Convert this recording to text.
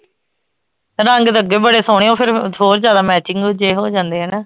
ਰੰਗ ਤਾਂ ਅੱਗੇ ਬੜੇ ਸੋਹਣੇ ਓ ਫੇਰ ਹੋਰ ਜ਼ਿਆਦਾ matching ਦੂਜੇ ਹੋਜਾਂਦੇ ਆ ਨਾ